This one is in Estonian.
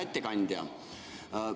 Hea ettekandja!